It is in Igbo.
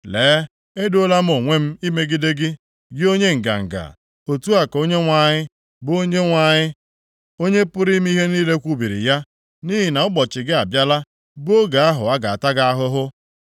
“Lee, edoola m onwe m imegide gị, gị onye nganga.” Otu a ka Onyenwe anyị, bụ Onyenwe anyị, Onye pụrụ ime ihe niile kwubiri ya. “Nʼihi na ụbọchị gị abịala, bụ oge ahụ a ga-ata gị ahụhụ.